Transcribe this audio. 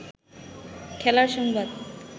খেলার সংবাদ